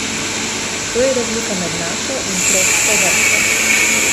To je razlika med našo in tropsko vrsto.